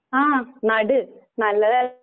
ആഹ് നട്‌ നല്ലത